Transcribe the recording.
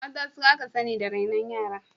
Mata su aka sani da rainon yara.